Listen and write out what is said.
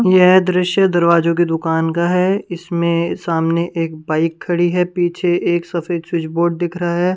यह दृश्य दरवाजों की दुकान का है इसमें सामने एक बाइक खड़ी है पीछे एक सफेद स्विच बोर्ड दिख रहा है।